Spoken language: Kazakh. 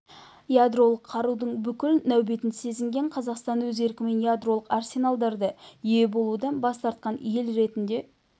ядролық қарудың бүкіл нәубетін сезінген қазақстан өз еркімен ядролық арсеналдарды ие болудан бас тартқан ел ретінде